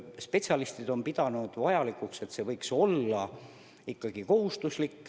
Spetsialistid on pidanud vajalikuks, et see on ikkagi kohustuslik.